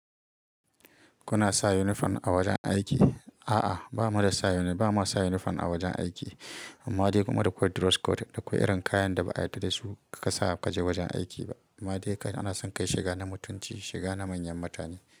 Kuna sa uniform a wajen aiki? A'a, ba mu da sa uniform a wajen aiki. Amma dai kuma da code dress code. Da akwai irin kayan da ba a yarda da su ka sa ka je wajen aiki ba. Amma dai kai ana son kai shiga na mutunci, shiga na manyan mutane.